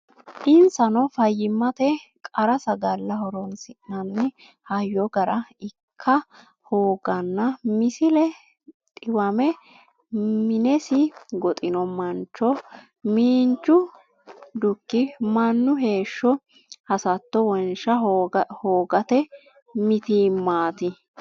Insano fayyimmate qarra sagale horonsi nanni hayyo gara ikka hooganna Misile Dhiwame minesi goxino mancho miinju dhuki mannu heeshsho hasatto wonsha hoogate mitiimmaati.